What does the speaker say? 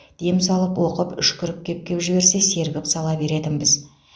дем салып оқып үшкіріп кеп кеп жіберсе сергіп сала беретінбіз